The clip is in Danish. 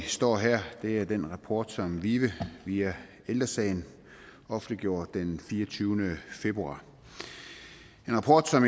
vi står her er den rapport som vive via ældre sagen offentliggjorde den fireogtyvende februar en rapport som